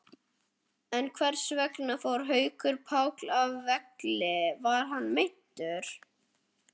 En hversvegna fór Haukur Páll af velli, var hann meiddur?